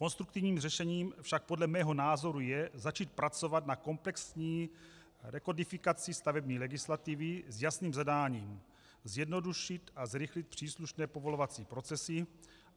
Konstruktivním řešením však podle mého názoru je začít pracovat na komplexní rekodifikaci stavební legislativy s jasným zadáním: zjednodušit a zrychlit příslušné povolovací procesy.